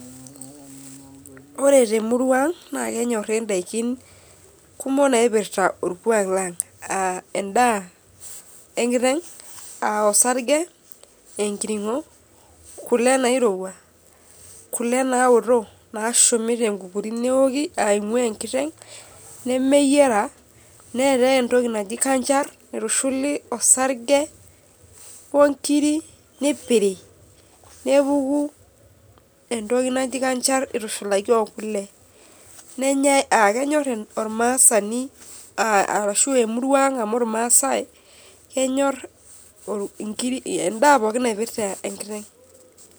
Ore temuruaang na kenyori ndakin kumok naipirta orkwak lang aa endaa enkiteng a osarge, enkiringo ,kule nairowua, kule naoto nashumi tenkukuri neoki aimu enkiteng nemeyiara, neetae entoki naji kanchar naitushuli osarge onkirik neeipiri nepuku entoki naji kanchal itushulaki okule nenyae nenyor ormasaani ashu emurua aang amu irmaasai kenyor endaa pookin naipirta enkiteng.